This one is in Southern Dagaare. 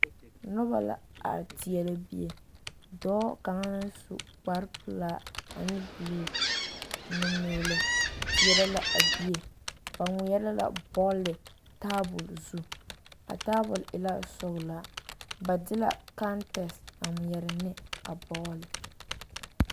Noba la are teɛrɛ bie, dɔɔ kaŋa naŋ su kpare pelaa ane buluu nu-meelɛ teɛrɛ la a bie, ba ŋmeɛrɛ la bɔɔle taabol zu, a taabol e la sɔgelaa, ba de kantɛse a ŋmeɛrɛ ne a bɔɔle.